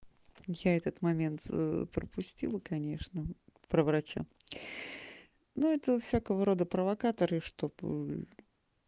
я этот момент пропустил конечно про врача ну это у всякого рода провокаторы чтобы